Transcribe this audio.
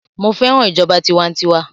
Mo fẹ́ràn ìjọba tiwantiwa